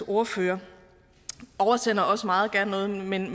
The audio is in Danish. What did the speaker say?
ordfører oversender jeg også meget gerne noget men